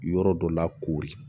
Yɔrɔ dɔ la koori